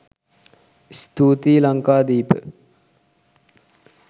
ස්තූතියි ලංකාදීප